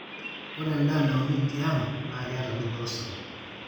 ore endaa nauni tiang' naa keeta dupoto sapuk